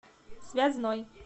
связной